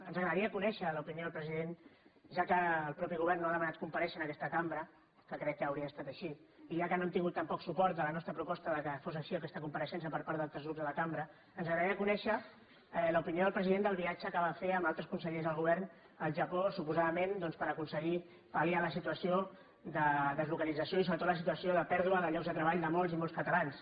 ens agradaria conèixer l’opinió del president atès que el propi govern no ha demanat comparèixer en aquesta cambra que crec que hauria d’haver estat així i ja que no hem tingut tampoc suport a la nostra proposta que fos així aquesta compareixença per part d’altres grups de la cambra ens agradaria conèixer l’opinió del president sobre el viatge que va fer amb altres consellers del govern al japó suposadament doncs per aconseguir palliar la situació de deslocalització i sobretot la situació de pèrdua de llocs de treball de molts i molts catalans